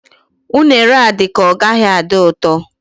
Unere a dị ka ọ gaghị adị ụtọ